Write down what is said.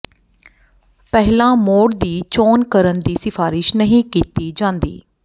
ਪਹਿਲਾਂ ਮੋਡ ਦੀ ਚੋਣ ਕਰਨ ਦੀ ਸਿਫ਼ਾਰਿਸ਼ ਨਹੀਂ ਕੀਤੀ ਜਾਂਦੀ